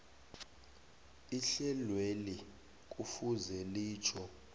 ihlelweli kufuze litjho